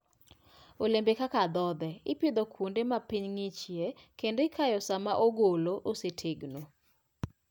Olembe kaka adhonde, ipidho kuonde ma piny ng'ichie kendo ikayo sama ogolo osetegno.